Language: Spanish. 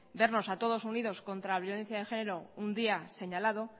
vernos a todos unidos contra la violencia de género un día señalado